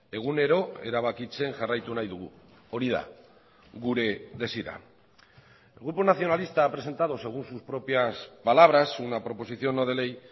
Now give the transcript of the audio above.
egunero erabakitzen jarraitu nahi dugu hori da gure desira el grupo nacionalista ha presentado según sus propias palabras una proposición no de ley